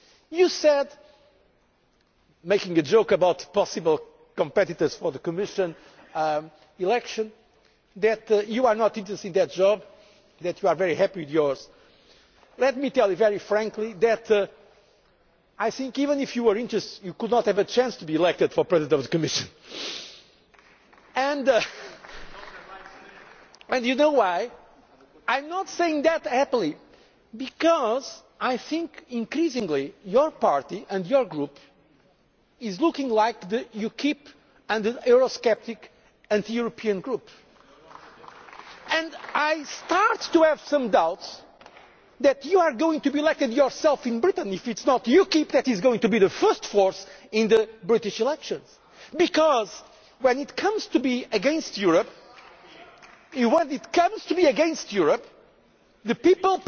values. Mr Callanan, you said, making a joke about possible competitors for the Commission election, that you are not interested in that job, that you are very happy with yours. Let me tell you very frankly that even if you were interested you could not have a chance to be elected President of the Commission and do you know why? I am not saying that happily, because I think increasingly your party and your Group is looking like UKIP, a Eurosceptic, anti European group. And I am starting to have some doubts that you are going to be elected yourself in Britain, or if it is not UKIP that is going to be the first force in the British elections. Because when it comes to being